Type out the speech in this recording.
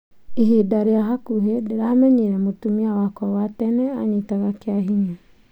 ĩbida rïa bakubĩ ndĩramenyire mũtumia wakwa wa tene anyitaga kiahinya